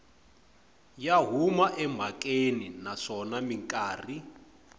ya huma emhakeni naswona mikarhi